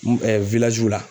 la